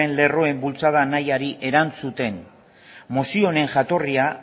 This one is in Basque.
lerroen bultzada nahiari erantzuten mozio honen jatorrian